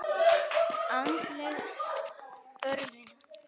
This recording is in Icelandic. Andleg örvun.